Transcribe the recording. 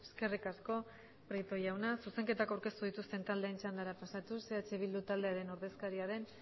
eskerrik asko prieto jauna zuzenketak aurkeztu dituzten taldeen txandara pasatuz eh bildu taldearen ordezkaria den